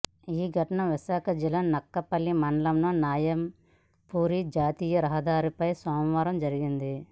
ఈ ఘటన విశాఖ జిల్లా నక్కపల్లి మండలం న్యాయంపూరి జాతీయ రహదారిపై సోమవారం జరిగింది